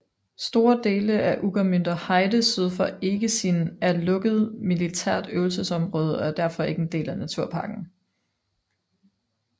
Store dele af Ueckermünder Heide syd for Eggesin er lukket militært øvelsesområde og er derfor ikke en del af naturparken